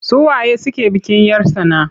Su waye suke bikin 'yar tsana?